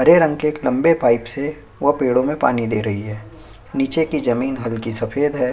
हरे रंग के एक लम्बे पाइप से वह पेड़ो में पानी दे रही है निचे की जमीन हल्की सफ़ेद है।